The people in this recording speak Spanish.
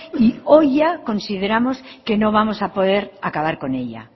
y hoy ya consideramos que no vamos a poder acabar con ella